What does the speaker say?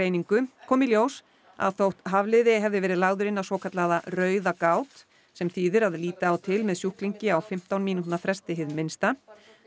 kom í ljós að þótt Hafliði hefði verið lagður inn á svokallaða rauða gát sem þýðir að líta á til með sjúklingi á fimmtán mínútna fresti hið minnsta